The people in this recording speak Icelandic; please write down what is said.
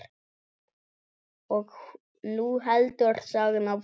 Og nú heldur sagan áfram!